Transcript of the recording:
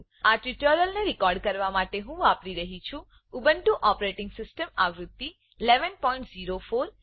આ ટ્યુટોરીયલને રેકોર્ડ કરવા માટે હું વાપરી રહ્યી છું ઉબુન્ટુ ઓપરેટીંગ સીસ્ટમ આવૃત્તિ 1104